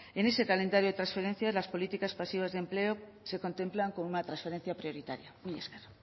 en ese calendario de transferencias las políticas pasivas de empleo se contemplan como una transferencia prioritaria mila esker